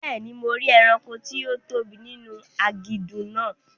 Bẹ́ẹ̀ni, mo rí ẹranko tí ó tóbi ninu aginjù náà